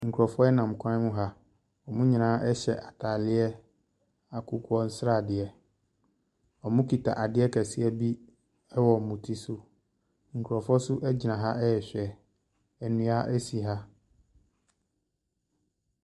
Nkrɔfoɔ ɛnam kwan ha , ɛmu nyinaa ɛhyɛ ataade akokɔ sradeɛ. Ɔmmu kita adeɛ kɛse bi ɛwɔ wɔn ti so. Nkrɔfo nso agyina ha ɛhwɛ. Nnua esi ha.